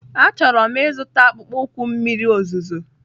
Achọrọ m ịzụta akpụkpọ ụkwụ mmiri ozuzo.